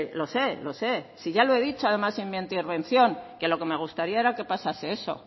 lo sé lo sé si ya lo he dicho además en mi anterior intervención que lo que me gustaría era que pasase eso